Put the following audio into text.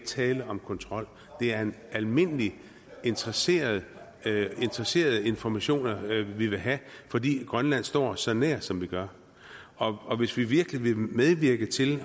tale om kontrol det er almindelige interesserede interesserede informationer vi vil have fordi grønland står os så nær som de gør og hvis vi virkelig vil medvirke til